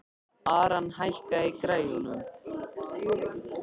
Aran, hækkaðu í græjunum.